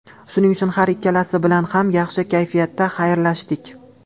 Shuning uchun har ikkalasi bilan ham yaxshi kayfiyatda xayrlashdik.